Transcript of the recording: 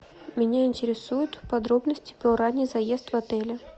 меня интересуют подробности про ранний заезд в отеле